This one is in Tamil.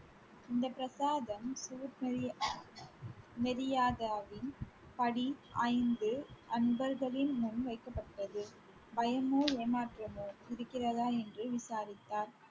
இந்த பிரசாதம் படி ஐந்து அன்பர்களின் முன் வைக்கப்பட்டது பயமோ ஏமாற்றமோ இருக்கிறதா என்று விசாரித்தார்.